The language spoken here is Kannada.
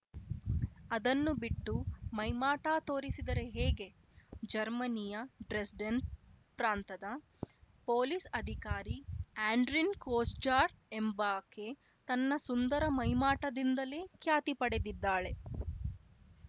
ಅದನ್ನು ಬಿಟ್ಟು ಮೈಮಾಟ ತೋರಿಸಿದರೆ ಹೇಗೆ ಜರ್ಮನಿಯ ಡ್ರೆಸ್ಡೆನ್‌ ಪ್ರಾಂತದ ಪೊಲೀಸ್‌ ಅಧಿಕಾರಿ ಆಡ್ರಿನ್‌ ಕೊಸ್ಜಾರ್ ಎಂಬಾಕೆ ತನ್ನ ಸುಂದರ ಮೈಮಾಟದಿಂದಲೇ ಖ್ಯಾತಿ ಪಡೆದಿದ್ದಾಳೆ